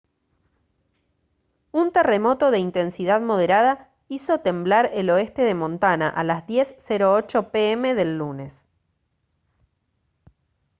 un terremoto de intensidad moderada hizo temblar el oeste de montana a las 10:08 p m del lunes